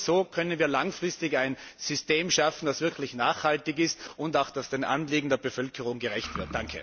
Nur so können wir langfristig ein System schaffen, das wirklich nachhaltig ist und das den Anliegen der Bevölkerung gerecht wird.